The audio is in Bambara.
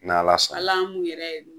Ni Ala sɔn na, al'a m'u yɛrɛ